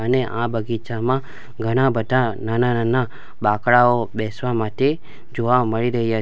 અને આ બગીચામાં ઘણા બધા નાના-નાના બાંકડાઓ બેસવા માટે જોવા મળી રહયા --